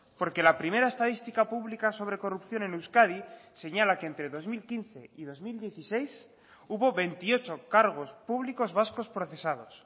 porque la primera estadística pública sobre corrupción en euskadi señala que entre dos mil quince y dos mil dieciséis hubo veintiocho cargos públicos vascos procesados